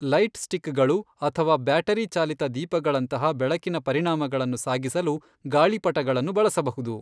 Light ಸ್ಟಿಕ್ಗಳು ಅಥವಾ battery ಚಾಲಿತ ದೀಪಗಳಂತಹ ಬೆಳಕಿನ ಪರಿಣಾಮಗಳನ್ನು ಸಾಗಿಸಲು ಗಾಳಿಪಟಗಳನ್ನು ಬಳಸಬಹುದು.